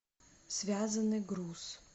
связанный груз